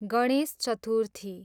Ganesh Chaturthi